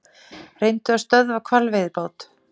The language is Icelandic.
Reyndu að stöðva hvalveiðibáta